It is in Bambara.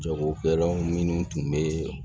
Jagokɛlaw minnu tun bɛ